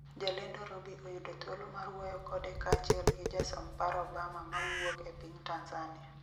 jalendo Robi oyudo thuolo mar wuoyo kode kaachiel gi jasom paro Bama mawuok e piny Tanzania